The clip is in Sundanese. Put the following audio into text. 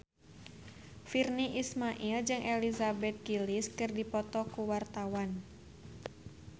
Virnie Ismail jeung Elizabeth Gillies keur dipoto ku wartawan